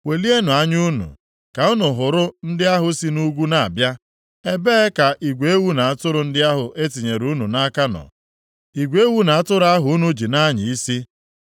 Welienụ anya unu ka unu hụrụ ndị ahụ si nʼugwu na-abịa. Ebee ka igwe ewu na atụrụ ndị ahụ e tinyere unu nʼaka nọ, igwe ewu na atụrụ ahụ unu ji na-anya isi?